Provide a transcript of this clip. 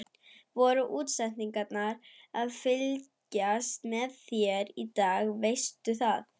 Voru útsendarar að fylgjast með þér í dag, veistu það?